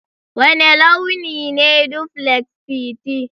Wane launi ne duplex Titi?